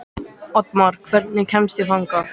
Oddmar, hvernig kemst ég þangað?